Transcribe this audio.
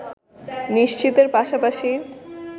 নিশ্চিতের পাশাপাশি